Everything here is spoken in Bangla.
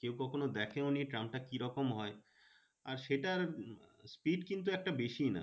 কেউ কখনো দেখেওনি ট্রামটা কি রকম হয়। আর সেটার speed কিন্তু একটা বেশি না।